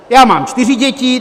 Já mám čtyři děti.